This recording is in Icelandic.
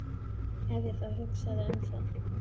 Ef ég þá hugsaði um það.